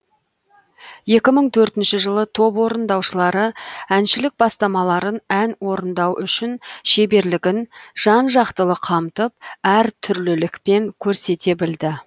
екі мың төртінші жылы топ орындаушылары әншілік бастамаларын ән орындау үшін шеберлігін жан жақтылы қамтып әр түрлілікпен көрсете білді